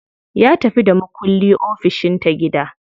Ya tafi da makulli ofishin ta gida.